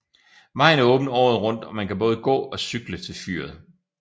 Vejen er åben året rundt og man kan både gå og cykle til fyret